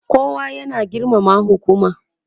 kowa ya na girmama hukuma